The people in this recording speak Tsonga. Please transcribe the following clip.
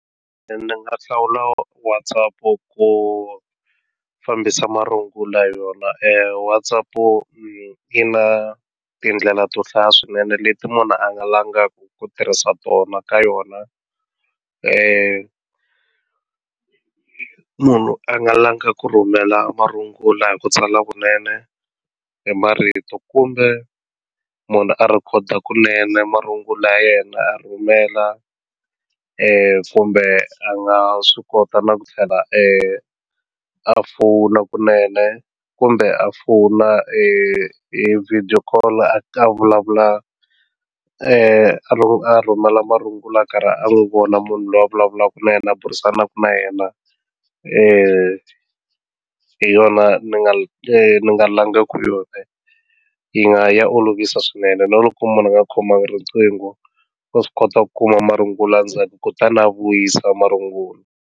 Ni nga hlawula WhatsApp ku fambisa marungula hi yona WhatsApp yi na tindlela to hlaya swinene leti munhu a nga langaka ku tirhisa tona ka yona munhu a nga langa ku rhumela marungula hi ku tsala kunene hi marito kumbe munhu a rhikhoda kunene marungula ya yena a rhumela kumbe a nga swi kota na ku tlhela a fona kunene kumbe a fona hi video call a vulavula a rhumela marungulo a karhi a n'wi vona munhu loyi a vulavulaka na yena a burisanaka na yena hi yona ni nga ni nga langaku yona yi nga ya olovisa swinene na loko munhu a nga khomangi riqingho wa swi kota ku kuma marungulo a ndzhaku kutani na vuyisa marungula.